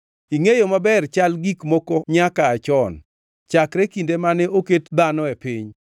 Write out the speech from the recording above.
“Ingʼeyo maber chal gik moko nyaka aa chon, chakre kinde mane oket dhano e piny,